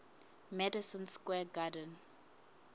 madison square garden